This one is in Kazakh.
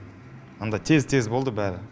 анда тез тез болды бәрі